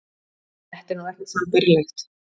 Þetta er nú ekkert sambærilegt